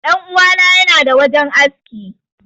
Dan uwa na yana da wajen aski.